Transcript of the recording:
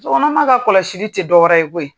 Musokɔnɔma ka kɔlɔsi tɛ dɔwrƐrƐ ye koyi,